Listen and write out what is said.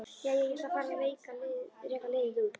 Jæja, ég ætla að fara að reka liðið út.